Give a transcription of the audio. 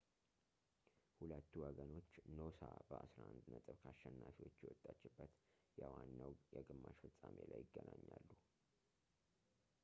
ሁለቱ ወገኖች ኖሳ በ11 ነጥብ ከአሸናፊዎች የወጣችበት የዋናው የግማሽ ፍፃሜ ላይ ይገናኛሉ